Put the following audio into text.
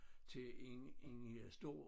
Til en en stor